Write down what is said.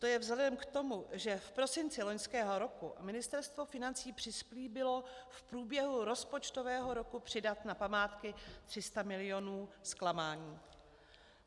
To je vzhledem k tomu, že v prosinci loňského roku Ministerstvo financí přislíbilo v průběhu rozpočtového roku přidat na památky 300 milionů, zklamání.